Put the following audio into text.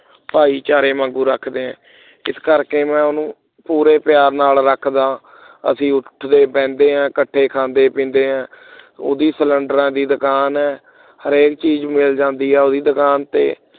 ਭਾਈਚਾਰੇ ਵਾਂਗ ਰੱਖਦੇ ਐ ਇਸ ਕਰਕੇ ਮੈਂ ਉਸ ਨੂੰ ਪੂਰੇ ਪਿਆਰ ਦੇ ਨਾਲ ਰੱਖਦਾ ਹਾਂ। ਅਸੀਂ ਉੱਡਦੇ ਬਹਿੰਦੇ ਹਾਂ ਇਕੱਠੇ ਖਾਂਦੇ ਪੀਂਦੇ ਹਾਂ ਉਹਦੀ cylinder ਦੀ ਦੁਕਾਨ ਹੈ। ਹਰੇਕ ਇਕ ਚੀਜ਼ ਮਿਲ ਜਾਂਦੀ ਹੈ ਉਹ ਦੀ ਦੁਕਾਨ ਤੇ